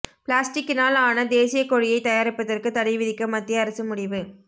பிளாஸ்டிக்கினால் ஆன தேசிய கொடியை தயாரிப்பதற்கு தடை விதிக்க மத்திய அரசு முடிவு